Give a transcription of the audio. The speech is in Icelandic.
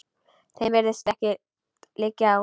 Þeim virðist ekkert liggja á.